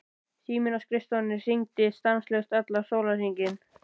Síminn á skrifstofunni hringdi stanslaust allan sólarhringinn.